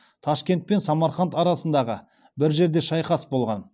ташкент пен самарқанд арасындағы бір жерде шайқас болған